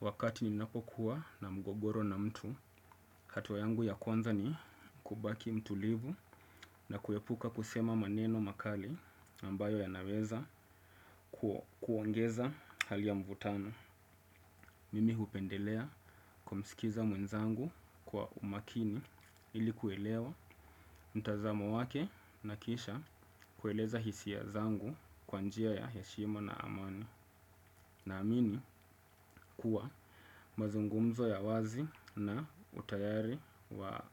Wakati ninapokuwa na mgogoro na mtu, hatua yangu ya kwanza ni kubaki mtulivu na kuepuka kusema maneno makali ambayo yanaweza kuongeza hali ya mvutano. Mimi hupendelea kumskiza mwenzangu kwa umakini ili kuelewa mtazamo wake na kisha kueleza hisia zangu kwa njia ya heshima na amani. Naamini kuwa mazungumzo ya wazi na utayari wa